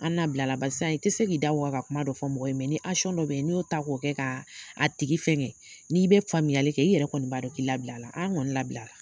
An nabilala barisan i ti se k'i da waka ka kuma dɔ fɔ mɔgɔ ye dɔ bɛ n'i y'o ta k'o kɛ ka a tigi fɛngɛ n'i be faamuyali kɛ, i yɛrɛ kɔni b'a dɔn k'i labilala, an ŋɔni labilara.